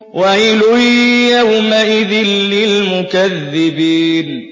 وَيْلٌ يَوْمَئِذٍ لِّلْمُكَذِّبِينَ